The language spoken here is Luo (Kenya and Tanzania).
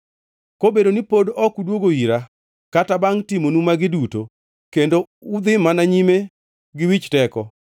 Kobedo ni pod ok udwogo ira kata bangʼ timonu magi duto, kendo udhi mana nyime gi wich teko,